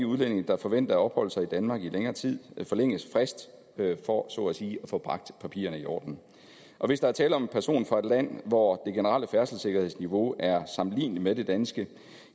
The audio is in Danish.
udlændinge der forventer at opholde sig i danmark i længere tid forlænget fristen for så at sige at få bragt papirerne i orden hvis der er tale om en person fra et land hvor det generelle færdselssikkerhedsniveau er sammenligneligt med det danske